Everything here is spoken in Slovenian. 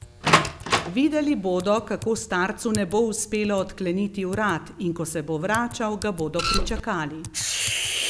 Videli bodo, kako starcu ne bo uspelo odkleniti vrat, in ko se bo vračal, ga bodo pričakali.